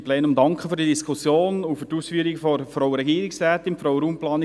Ich danke Ihnen für die Diskussion und der Regierungsrätin für die Ausführungen.